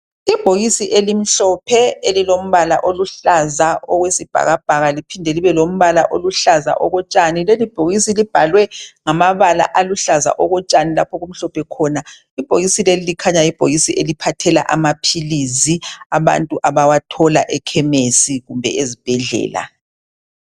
Ibhokisi elimhlophe elilombala oluhlaza okwesibhakabhaka liphinde libelombhala oluhlaza okotshani leli bhokisi libhalwe ngamabala ngamabala aluhlaza okotshani lapho okumhlophe khona ibhokisi leli likhanya libhokisi eliphathela amaphilisi abantu abawathola ekhemesi kumbe ezibhedlela